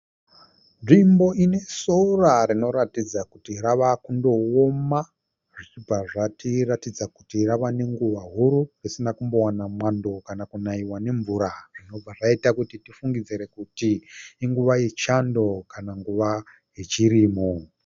Nzvimbo ine sora rinotaridza kuti rave kutooma, zvobva zvatiratidza kuti rave nenguva huru risina kumbowana mwando kana kunaiwa nemvura, zvobva zvatiratidza kuti nguva yechando kna anguva yechirimo.